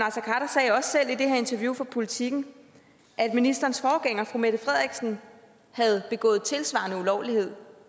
interview med politiken at ministerens forgænger fru mette frederiksen havde begået en tilsvarende ulovlighed